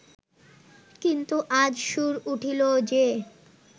কিন্তু আজ সুর উঠিল যে